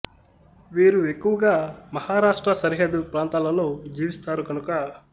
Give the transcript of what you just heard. వీరు ఎక్కువగా మహారాష్ర్ట సరిహద్దు ప్రాం తాలలో జీవిస్తారు కనుక